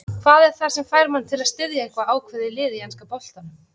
Hvað er það sem fær mann til að styðja eitthvað ákveðið lið í enska boltanum?